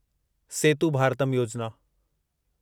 सेतु Bharatam योजिना